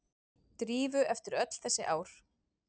Drífu eftir öll þessi ár.